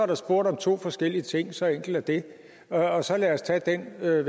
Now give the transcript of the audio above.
der spurgt om to forskellige ting så enkelt er det og så lad os tage den ved